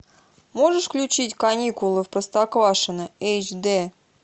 можешь включить каникулы в простоквашино эйч д